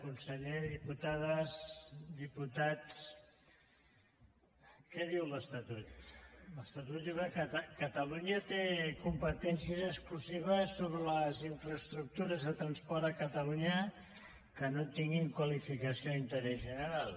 conseller diputades diputats què diu l’estatut l’estatut diu que catalunya té competències exclusives sobre les infraestructures de transport a catalunya que no tinguin qualificació d’interès general